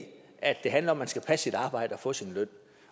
at det handler om at man skal passe sit arbejde og få sin løn